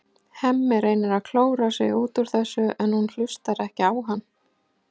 Hemmi reynir að klóra sig út úr þessu en hún hlustar ekki á hann.